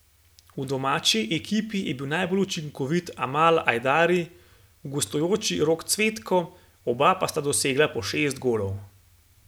V domači ekipi je bil najbolj učinkovit Amal Ajdari, v gostujoči Rok Cvetko, oba pa sta dosegla po šest golov.